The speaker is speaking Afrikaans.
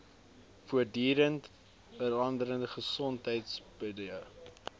voortdurend veranderende gesondheidsorgbedryf